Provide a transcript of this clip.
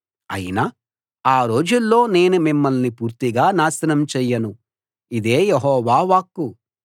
అయినా ఆ రోజుల్లో నేను మిమ్మల్ని పూర్తిగా నాశనం చెయ్యను ఇదే యెహోవా వాక్కు